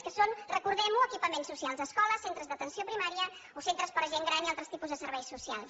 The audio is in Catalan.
que són recordem ho equipaments socials escoles centres d’atenció primària o centres per a gent gran i altres tipus de serveis socials